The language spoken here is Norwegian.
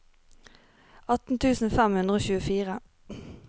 atten tusen fem hundre og tjuefire